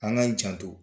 An k'an janto